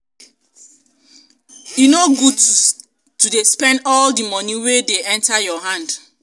e no good to dey spend all di moni wey dey enta your hand.